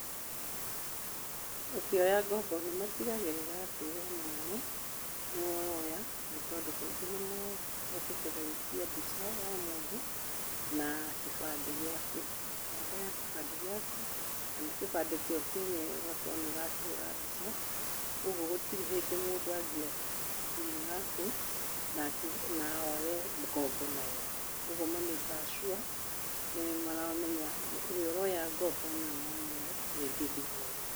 Ũkĩoya ngombo nĩ matigagĩrĩra atĩ we mwene nĩ we ũraoya nĩ tondũ kaingĩ nĩ macokete gũitia mbica ya mũndũ na kĩbandĩ gĩaku, namba ya kĩbandĩ gĩaku kana kĩbandĩ kĩo kĩenyewe ũgakorwo nĩ ũrakĩhũra mbica. Kwoguo gũtirĩ hĩndĩ mũndũ angĩoya thimũ yaku na oye ngombo nayo. Kwoguo nĩ ma make kaga sure nĩ maramenya ũrĩa ũraoya ngombo nĩ we mwene rĩngĩ thimũ ĩyo.